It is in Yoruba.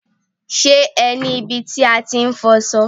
Ṣé ẹ ní ibi tí a ti ń fọṣọ?